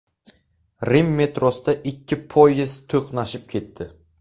Rim metrosida ikki poyezd to‘qnashib ketdi.